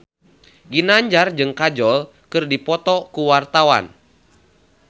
Ginanjar jeung Kajol keur dipoto ku wartawan